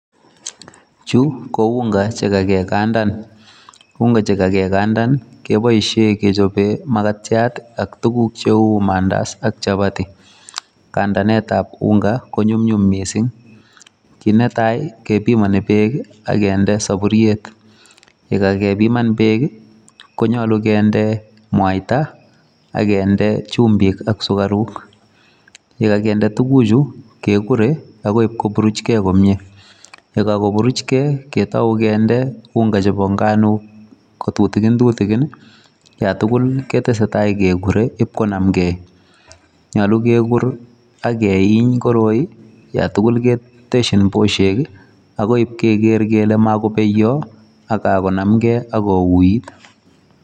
Chu, ko unga chekakekandan. Unga chekakekndan, keboisie kechope makatiat, ak tuguk cheu mandazi ak chapati. Kandanetab unga ko nyumnyum missing. Kii netai, kepimani beek, akende saburiet. Yekakepiman beek, konyolu kende mwaita, akende chumbik ak sukaruk. Yekakende tuguk chu, kekure akoi ipkopuruchei komyee. Yekakopuruchkei, ketau kende unga chebo nganok ko tutikin tutikin, yatugul ketesetai kekure ipkonamkei. Nyolu kekur, akeiny koroi, yatugul keteshin boshek akoi ipkeker kole mako beyoi, kakonamkei, akouit.